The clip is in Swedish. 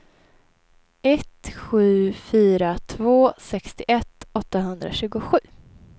ett sju fyra två sextioett åttahundratjugosju